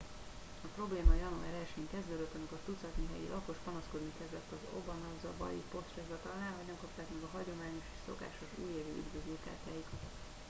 a probléma január 1 én kezdődött amikor tucatnyi helyi lakos panaszkodni kezdett az obanazawai postahivatalnál hogy nem kapták meg a hagyományos és szokásos újévi üdvözlőkártyáikat